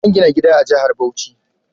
Zan gina gida a jahar Bauchi